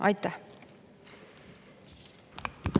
Aitäh!